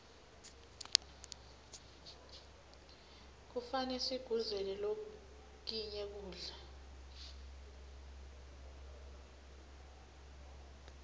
kufane sikuguze lokinye kudla